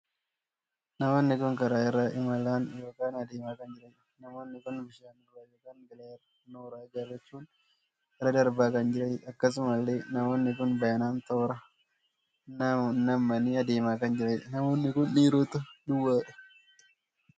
Namoonni kun karaa irra imalaan ykn adeemaa kan jiraniidha. namoonni kun bishaan irraa ykn galaana irraa nooraa ijaarrachuun irra darbaa kan jiraniidha. akkasumallee namoonni kun baay'inaan toora nammanii adeemaa kan jiraniidha. namoonni kun dhiiroota duwwaadha.